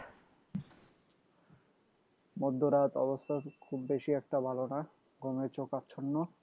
মধ্যরাত অবস্থা খুব বেশি একটা ভালো না ঘুমে চোখ আচ্ছন্ন